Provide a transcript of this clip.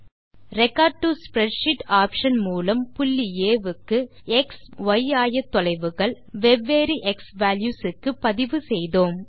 record to spreadsheet option மூலம் புள்ளி ஆ க்கு எக்ஸ் மற்றும் ய் ஆயத்தொலைவுகள் வெவ்வேறு க்ஸ்வால்யூஸ் க்கு பதிவு செய்தோம்